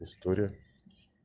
история